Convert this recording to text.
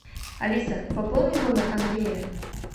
алиса пополни номер андрея